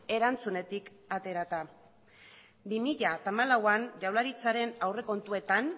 erantzunetik aterata bi mila lauan jaurlaritzan aurrekontuetan